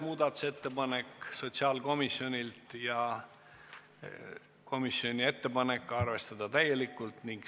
Muudatusettepanek nr 6 on sotsiaalkomisjonilt, juhtivkomisjoni ettepanek: arvestada täielikult.